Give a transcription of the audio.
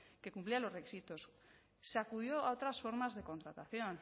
que cumplían los requisitos se acudió a otras formas de contratación